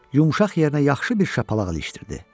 Yumşaq yerinə yaxşı bir şapalaq ilişdirdi.